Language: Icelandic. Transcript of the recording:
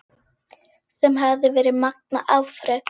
Sem hefði verið magnað afrek.